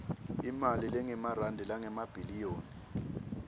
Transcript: imali lengemarandi langemabhiliyoni